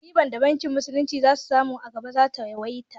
Ribar da bankin musulunci za su samu a gaba za ta yawaita